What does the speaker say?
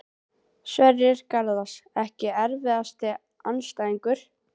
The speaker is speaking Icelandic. Sverrir Garðars Ekki erfiðasti andstæðingur?